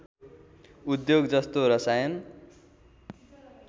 उद्योग जस्तो रसायन